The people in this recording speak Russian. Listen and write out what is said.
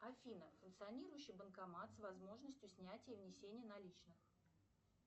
афина функционирующий банкомат с возможностью снятия и внесения наличных